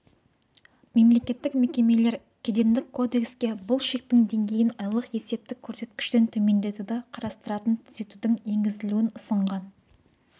мемлекеттік мекемелер кедендік кодекске бұл шектің деңгейін айлық есептік көрсеткіштен төмендетуді қарастыратын түзетудің енгізілуін ұсынған